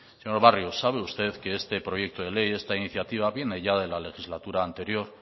señor barrio sabe usted que este proyecto de ley esta iniciativa viene ya de la legislatura anterior